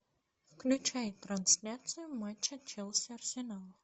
включай трансляцию матча челси арсенал